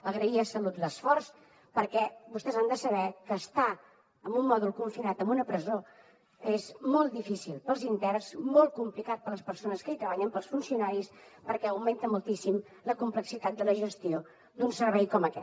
agrair a salut l’esforç perquè vostès han de saber que estar en un mòdul confinat en una presó és molt difícil per als interns molt complicat per a les persones que hi treballen per als funcionaris perquè augmenta moltíssim la complexitat de la gestió d’un servei com aquest